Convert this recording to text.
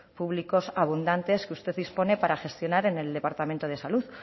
públicos abundantes que usted dispone para gestionar en el departamento de salud